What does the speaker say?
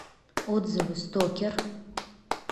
отзывы стокер